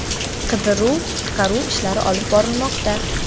Qidiruv-qutqaruv ishlari olib borilmoqda.